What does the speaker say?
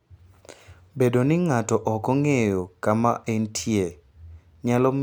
Bedo ni ng'ato ok ong'eyo kama entie, nyalo miyo kik odhi maber.